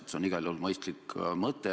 See on igal juhul mõistlik mõte.